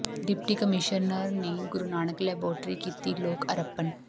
deputy commissioner ਨੇ Guru Nanak laboratory ਕੀਤੀ ਲੋਕ ਅਰਪਣ